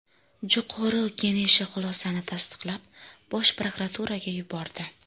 Jo‘qorg‘u Keneshi xulosani tasdiqlab, bosh prokuraturaga yubordi.